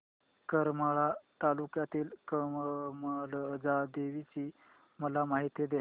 करमाळा तालुक्यातील कमलजा देवीची मला माहिती दे